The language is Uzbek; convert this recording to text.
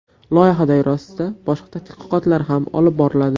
Loyiha doirasida boshqa tadqiqotlar ham olib boriladi.